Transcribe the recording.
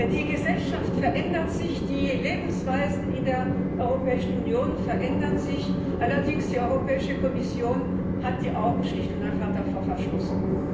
Die Gesellschaft verändert sich, die Lebensweisen in der Europäischen Union verändern sich allerdings hat die Europäische Kommission die Augen schlicht und einfach davor verschlossen.